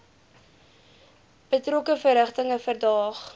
betrokke verrigtinge verdaag